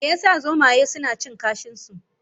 me ya sa zomaye suna cin kashin su?